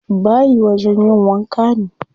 Bayi wajen yin wanka ne.